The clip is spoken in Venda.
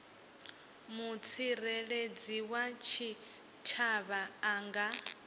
mutsireledzi wa tshitshavha a nga